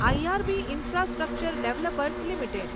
IRB infrastructure developers limited